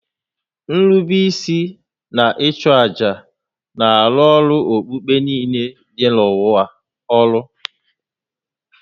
Nrube isi na ịchụ àjà na-arụrụ okpukpe niile dị n'ụwa ọrụ